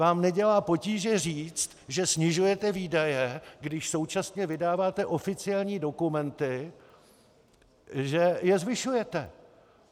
Vám nedělá potíže říct, že snižujete výdaje, když současně vydáváte oficiální dokumenty, že je zvyšujete.